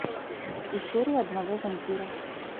история одного вампира